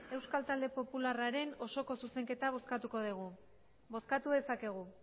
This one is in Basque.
euskal talde popularraren osoko zuzenketa bozkatuko degu bozkatu dezakegu